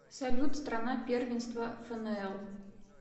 салют страна первенство фнл